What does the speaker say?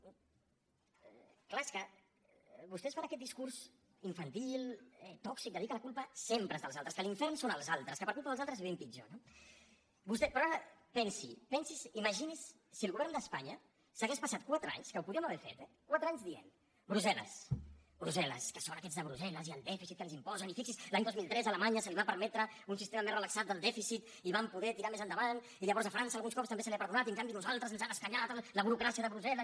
és clar és que vostès fan aquest discurs infantil tòxic de dir que la culpa sempre és dels altres que l’infern són els altres que per culpa dels altres vivim pitjor no però ara pensi pensi’s imagini’s si el govern d’espanya s’hagués passat quatre anys que ho podríem haver fet eh quatre anys dient brussel·les brussel·les és que són aquests de brussel·les i el dèficit que ens imposen i fixi’s l’any dos mil tres a alemanya se li va permetre un sistema més relaxat del dèficit i van poder tirar més endavant i llavors a frança alguns cops també se li ha perdonat i en canvi a nosaltres ens han escanyat la burocràcia de brussel·les